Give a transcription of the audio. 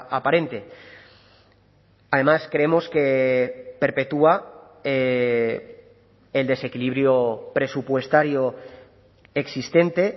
aparente además creemos que perpetúa el desequilibrio presupuestario existente